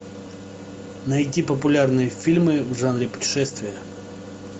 найди популярные фильмы в жанре путешествия